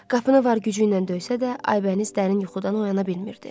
Qapını var gücü ilə döysə də, Aybəniz dərin yuxudan oyana bilmirdi.